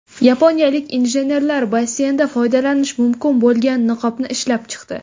Yaponiyalik injenerlar basseynda foydalanish mumkin bo‘lgan niqobni ishlab chiqdi.